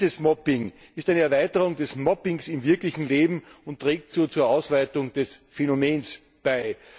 Dieses Mobbing ist eine Erweiterung des Mobbings im wirklichen Leben und trägt so zur Ausweitung des Phänomens bei.